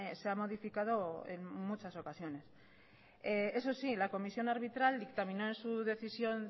se ha modificado en muchas ocasiones eso sí la comisión arbitral dictaminó en su decisión